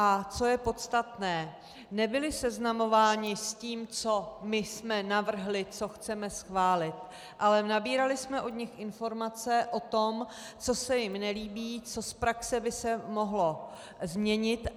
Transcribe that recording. A co je podstatné, nebyli seznamováni s tím, co my jsme navrhli, co chceme schválit, ale nabírali jsme od nich informace o tom, co se jim nelíbí, co z praxe by se mohlo změnit.